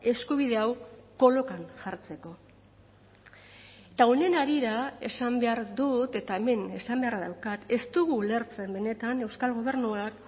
eskubide hau kolokan jartzeko eta honen harira esan behar dut eta hemen esan beharra daukat ez dugu ulertzen benetan euskal gobernuak